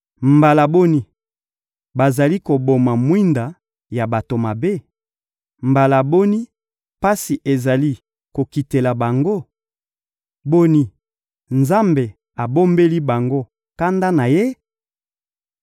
Mbala boni bazali koboma mwinda ya bato mabe? Mbala boni pasi ezali kokitela bango? Boni, Nzambe abombeli bango kanda na Ye?